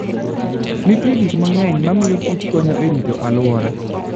Nitie gik mang'eny mamiyo Kich konyo e rito alwora.